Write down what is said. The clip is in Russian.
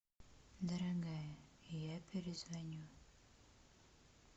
дорогая я перезвоню